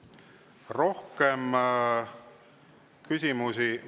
Rohkem küsimusi …